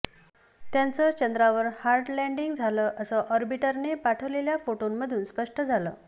त्याचं चंद्रावर hard landing झालं असं ऑर्बिटरने पाठवलेल्या फोटोमधून स्पष्ट झालं